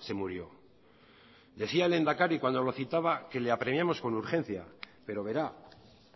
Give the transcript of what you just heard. se murió decía el lehendakari cuando lo citaba que le apremiamos con urgencia pero verá